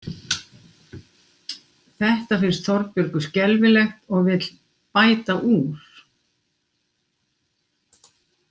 Þetta finnst Þorbjörgu skelfilegt og vill „bæta úr“.